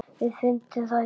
Við fundum það í